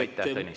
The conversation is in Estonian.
Aitäh, Tõnis!